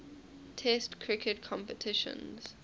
test cricket competitions